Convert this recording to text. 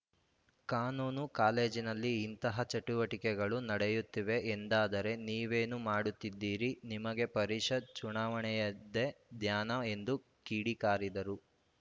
ಕಾನೂನು ಕಾಲೇಜಿನಲ್ಲಿ ಇಂತಹ ಚಟುವಟಿಕೆಗಳು ನಡೆಯುತ್ತಿವೆ ಎಂದಾದರೆ ನೀವೇನು ಮಾಡುತ್ತಿದ್ದೀರಿ ನಿಮಗೆ ಪರಿಷತ್‌ ಚುನಾವಣೆಯದ್ದೇ ಧ್ಯಾನ ಎಂದು ಕಿಡಿಕಾರಿದರು